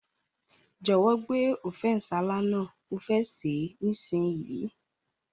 Jòwó gbé Ofe nsala náà, mo fe se nísinyí